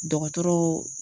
Dɔgɔtɔrɔ